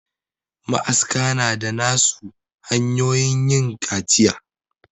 Ma aska na da na su hanyoyin yin kaciya